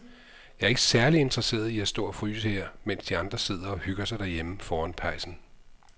Jeg er ikke særlig interesseret i at stå og fryse her, mens de andre sidder og hygger sig derhjemme foran pejsen.